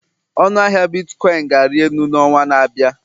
Ọnụ ahịa bitkọịn ga-ari elu n'ọnwa na-abịa